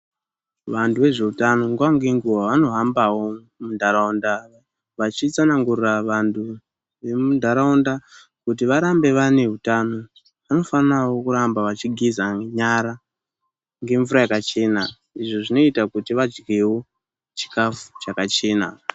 Vantu vezveutano nguwa ngenguwa vanohambawo mundaraunda vachitsanangurira vantu vembunharaunda kuti varambe vane utano. Vanofanawo kuramba vachigeza nyara ngemvura yakachena izvo zvinoita kuti vadyewo chikafu chakachena.